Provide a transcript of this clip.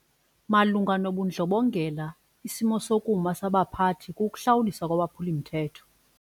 Malunga nobundlobongela isimo sokuma sabaphathi kukuhlawuliswa kwabaphuli-mthetho.